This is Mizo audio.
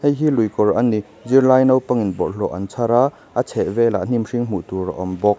heihi luikawr a ni zirlai naupang in bawllhawh an chhar a a chheh velah hnim hring hmuhtur a awmbawk--